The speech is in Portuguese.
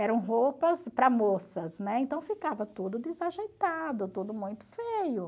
Eram roupas para moças, né, então ficava tudo desajeitado, tudo muito feio.